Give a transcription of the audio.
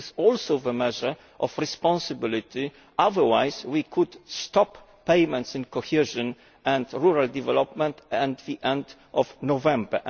This is also a measure of responsibility, otherwise we might stop payments in cohesion and rural development at the end of November.